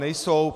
Nejsou.